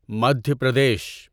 Madhya Pradesh